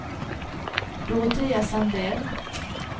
Dorotea Sandell